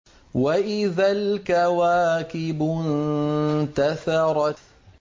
وَإِذَا الْكَوَاكِبُ انتَثَرَتْ